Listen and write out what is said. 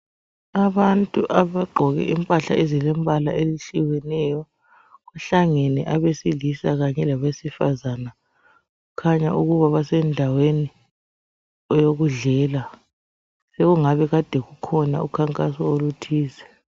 Abantu abagqoke impahla ezilembala ehlukeneyo kuhlangene abesilisa kanye labesifazane kukhanya ukuba basendaweni eyokudlela okungabe kade kukhona ukhankaso oluthize